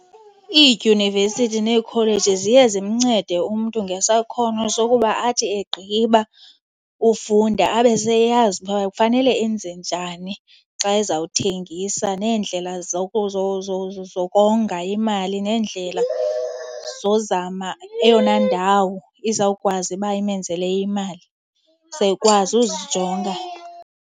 Iidyunivesithi neekholeji ziye zimncede umntu ngesakhono sokuba athi egqiba ufunda abe seyazi uba kufanele enze njani xa ezawuthengisa, neendlela zokonga imali nee, ndlela zozama eyona ndawo izawukwazi uba imenzele imali. Uzawukwazi uzijonga.